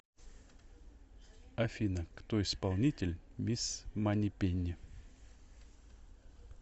афина кто исполнитель мисс манипенни